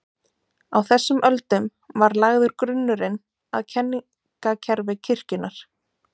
Á þessum öldum var lagður grunnurinn að kenningakerfi kirkjunnar.